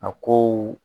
A kow